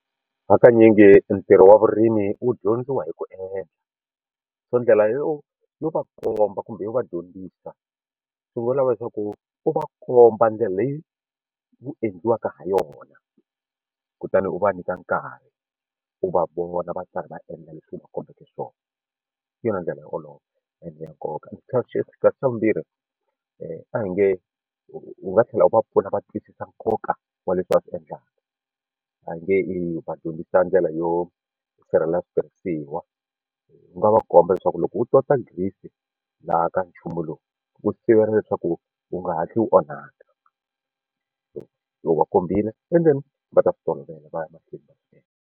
Hakanyingi ntirho wa vurimi wu dyondziwa hi ku endla so ndlela yo yo va komba kumbe yo va dyondzisa swi vula leswaku u va komba ndlela leyi wu endliwaka ha yona kutani u va nyika nkarhi u va vona va karhi va endla leswi u va kombeke swona hi yona ndlela yo olova and nkoka xa vumbirhi a hi nge u nga tlhela u va pfuna va twisisa nkoka wa leswi va swi endlaka a hi nge i va dyondzisa ndlela yo sirhelela switirhisiwa u nga va komba leswaku loko u tota grease laha ka nchumu lowu wu sivela leswaku wu nga hatli wu onhaka so u va khumbile and then va ta swi tolovela va ya mahlweni va swi endla.